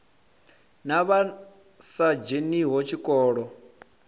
na vha sa dzheniho tshikolo